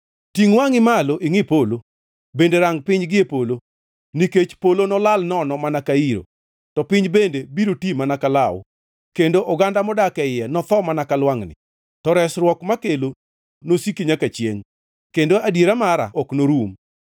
Tingʼ wangʼi malo ingʼi polo, bende rang piny gie polo, nikech polo nolal nono mana ka iro, to piny bende biro ti mana ka law kendo oganda modak e iye notho mana ka lwangʼni. To resruok makelo nosiki nyaka chiengʼ kendo adiera mara ok norum.